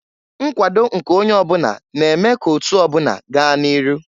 Nkwado nke onye ọbụna na-eme ka otu ọbụna gaa n'iru.